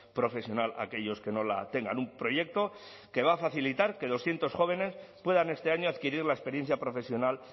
profesional a aquellos que no la tengan un proyecto que va a facilitar que doscientos jóvenes puedan este año adquirir la experiencia profesional